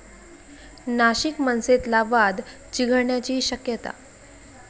नाशिक मनसेतला वाद चिघळण्याची शक्यता